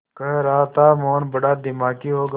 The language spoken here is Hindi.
कह रहा था मोहन बड़ा दिमागी होगा